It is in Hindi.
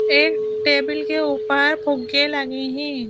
एक टेबल के ऊपर फुगे लगे हैं।